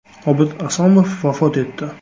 Obid Asomov vafot etdi.